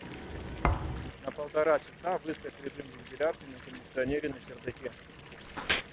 на полтора часа выставь режим вентиляции на кондиционере на чердаке